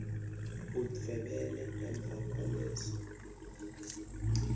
udvwebele emva kwaleso